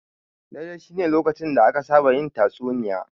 Dare shine lokacin da aka saba yin tatsuniya.